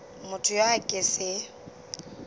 motho yo a ka se